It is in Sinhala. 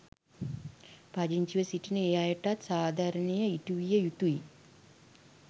පදිංචිව සිටින ඒ අයටත් සාධාරණය ඉටු විය යුතුයි.